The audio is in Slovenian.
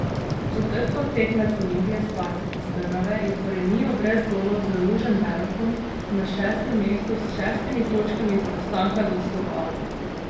Četrtkov tekmec Olimpije Spartak iz Trnave je po remiju brez golov z Ružomberokom na šestem mestu s šestimi točkami zaostanka za Slovanom.